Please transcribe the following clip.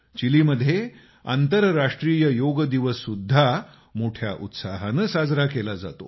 चिलीत आंतरराष्ट्रीय योग दिवस सुद्धा मोठ्या उत्साहानं साजरा केला जातो